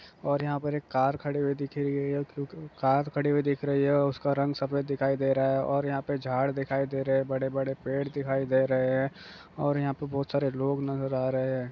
और यहाँ पर एक कार खड़ी हुई दिख रही है और यहां पर एक कार खड़ी हुई दिखाई दे रही है उसका रंग सफेद दिखाई दे रहा है और यहां पर झाड़ दिखाई दे रहे है और बड़े-बड़े पेड़ दिखाई दे रहे हैं| और यहां पर बहुत सारे लोग नजर आ रहे हैं ।